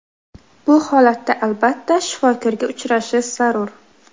Bu holatda albatta, shifokorga uchrashish zarur.